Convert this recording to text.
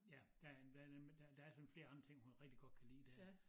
Ja der er blandt andet men der der sådan flere andre ting hun rigtig godt kan lide dér